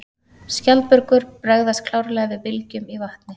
Skjaldbökur bregðast klárlega við bylgjum í vatni.